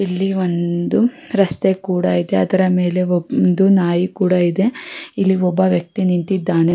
ಇಲ್ಲಿ ಒಂದು ರಸ್ತೆ ಕೂಡ ಇದೆ ಅದ್ರ ಮೇಲೆ ಒಂದು ನಾಯಿ ಕೂಡ ಇದೆ ಇಲ್ಲಿ ಒಬ್ಬ ವ್ಯಕ್ತಿ ನಿಂತಿದ್ದಾನೆ.